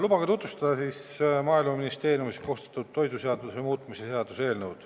Lubage tutvustada Maaeluministeeriumis koostatud toiduseaduse muutmise seaduse eelnõu.